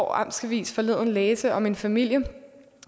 amts avis forleden kunne læse om en familie